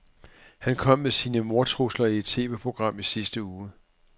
Han kom med sine mordtrusler i et TVprogram i sidste uge.